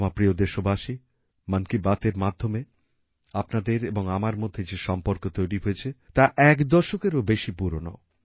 আমার প্রিয় দেশবাসী মন কি বাতএর মাধ্যমে আপনাদের এবং আমার মধ্যে যে সম্পর্ক তৈরি হয়েছে তা এক দশকেরও বেশি পুরনো